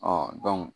Ɔ